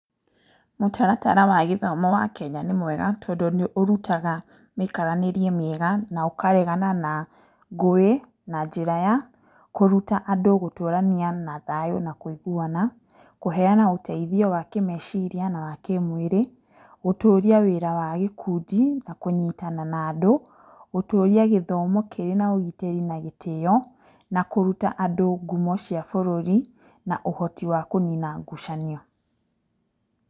Mũtaratara wa gĩthomo wa Kenya nĩ mwega tondũ nĩ ũrutaga mĩikaranĩrie mĩega, na ũkaregana na ngũĩ na njĩra ya kũruta andũ gũtũrania na thayũ na kũiguana, kũheana ũteithio wa kĩmeciria na wa kĩmwĩrĩ, gũtũria wĩra wa gĩkundi, na kũnyitana na andũ, gũtũria gĩthomo kĩrĩ na ũgitĩri na gĩtĩo, na kũruta andũ ngumo cia bũrũri na ũhoti wa kũnina ngucanio.